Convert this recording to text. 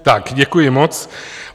Tak, děkuji moc.